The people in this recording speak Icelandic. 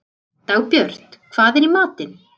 Dagbjört, hvað er í matinn?